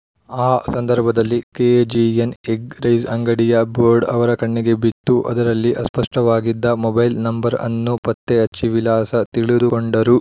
ಆ ಸಂದರ್ಭದಲ್ಲಿ KGN egg rice ಅಂಗಡಿಯ ಬೋರ್ಡ್‌ ಅವರ ಕಣ್ಣಿಗೆ ಬಿತ್ತು ಅದರಲ್ಲಿ ಅಸ್ಪಷ್ಟವಾಗಿದ್ದ ಮೊಬೈಲ್‌ ನಂಬರ್‌ ಅನ್ನು ಪತ್ತೆಹಚ್ಚಿ ವಿಳಾಸ ತಿಳಿದುಕೊಂಡರು